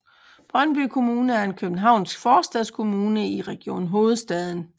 Brøndby Kommune er en københavnsk forstadskommune i Region Hovedstaden